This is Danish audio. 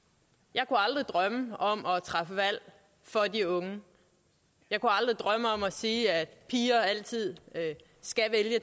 jeg kunne aldrig drømme om at træffe valg for de unge jeg kunne aldrig drømme om at sige at piger altid skal